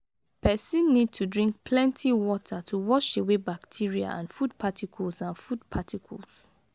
person need to drink plenty water to wash away bacteria and food particles and food particles